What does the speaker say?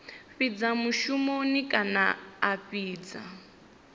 fhidza mushumoni kana a fhidza